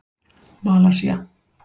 Malasía